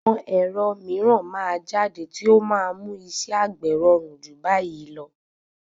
Àwọn ẹ̀rọ mìíràn máa jáde tí ó máa mú iṣẹ́ àgbè rọrùn jù báyìí lọ.